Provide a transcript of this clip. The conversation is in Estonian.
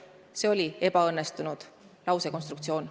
Aga see oli ebaõnnestunud lausekonstruktsioon.